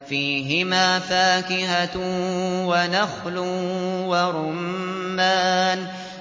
فِيهِمَا فَاكِهَةٌ وَنَخْلٌ وَرُمَّانٌ